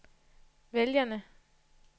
vælgerne